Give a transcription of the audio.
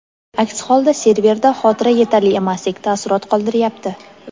aks holda serverda xotira yetarli emasdek taassurot qoldiryapti.